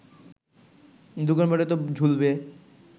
দোকানপাটে তো ঝুলবে